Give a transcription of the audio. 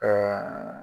Ɛɛ